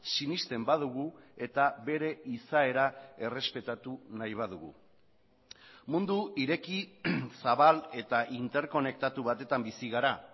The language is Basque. sinesten badugu eta bere izaera errespetatu nahi badugu mundu ireki zabal eta interkonektatu batetan bizi gara